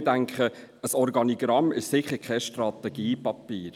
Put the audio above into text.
Aber ich denke, ein Organigramm ist sicher kein Strategiepapier.